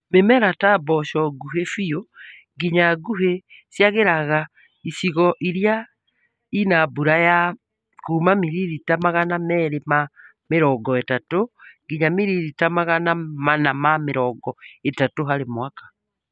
Mĩmera ta mboco nguhĩ biũ nginya nguhĩ ciagagĩra icigo irĩa ina mbuya ya kuuma miririta Magana meri ma mĩrongo ĩtatũ nginya miririta Magana mana ma mĩrongo ĩtatũ harĩ mwaka